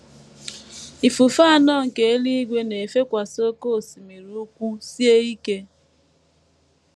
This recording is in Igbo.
“ Ifufe anọ nke eluigwe na - efekwasị oké osimiri ukwu sie ike.